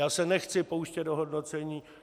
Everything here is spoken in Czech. Já se nechci pouštět do hodnocení.